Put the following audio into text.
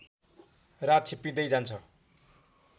रात छिप्पिँदै जान्छ